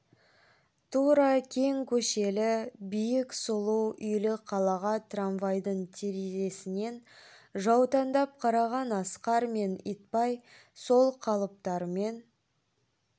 тура кең көшелі биік сұлу үйлі қалаға трамвайдың терезесінен жаутаңдап қараған асқар мен итбай сол қалыптарымен